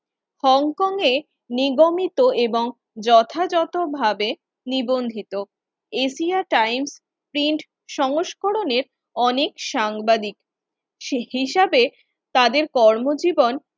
হংকং-এ নিগমিত এবং যথাযথভাবে নিবন্ধিত এশিয়া টাইমস প্রিন্ট সংস্করনের অনেক সাংবাদিক সে হিসাবে তাদের কর্মজীবন